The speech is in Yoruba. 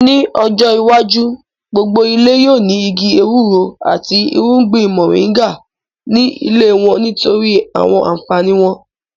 Ní ọjọ́ iwájú, gbogbo ilé yóò ní igi ewúro àti irúgbìn mọ̀ríńgà ní ilé wọ́n nítorí àwọn ànfàní wọn